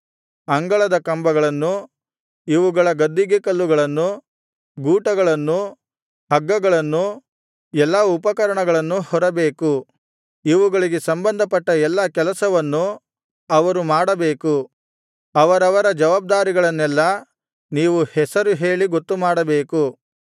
ಅಂಗಳದ ಕಂಬಗಳನ್ನು ಇವುಗಳ ಗದ್ದಿಗೆಕಲ್ಲುಗಳನ್ನೂ ಗೂಟಗಳನ್ನೂ ಹಗ್ಗಗಳನ್ನೂ ಎಲ್ಲಾ ಉಪಕರಣಗಳನ್ನೂ ಹೊರಬೇಕು ಇವುಗಳಿಗೆ ಸಂಬಂಧಪಟ್ಟ ಎಲ್ಲಾ ಕೆಲಸವನ್ನು ಅವರು ಮಾಡಬೇಕು ಅವರವರ ಜವಾಬ್ದಾರಿಗಳನ್ನೆಲ್ಲಾ ನೀವು ಹೆಸರು ಹೇಳಿ ಗೊತ್ತುಮಾಡಬೇಕು